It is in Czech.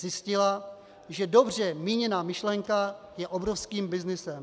Zjistila, že dobře míněná myšlenka je obrovským byznysem.